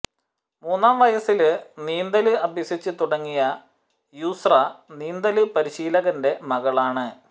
മൂന്നാം വയസ്സില് നീന്തല് അഭ്യസിച്ച് തുടങ്ങിയ യുസ്ര നീന്തല് പരിശീലകന്റെ മകളാണ്